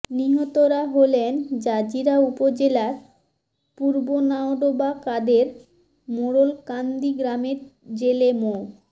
নিহতরা হলেন জাজিরা উপজেলার পূর্বনাওডোবা কাদের মোড়ল কান্দি গ্রামের জেলে মো